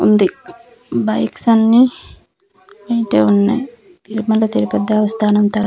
ఉంది బైక్స్ అన్ని ఈటే ఉన్నాయ్ తిరుమల తిరుపతి దేవస్థానము తర--